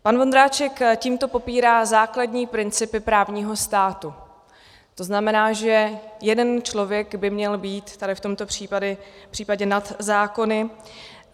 Pan Vondráček tímto popírá základní principy právního státu, to znamená, že jeden člověk by měl být tady v tomto případě nad zákony.